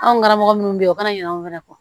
Anw karamɔgɔ minnu bɛ yen o kana ɲina anw fɛ kɔ